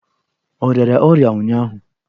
Ọ rịara ọrịa ụnyụahụ?